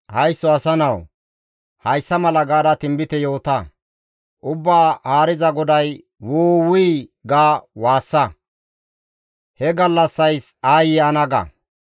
«Haysso asa nawu! Hayssa mala gaada tinbite yoota: Ubbaa Haariza GODAY, « ‹Wu! Wuy› ga waassa; ‹He gallassays aayye ana!› ga.